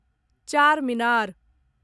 Charminar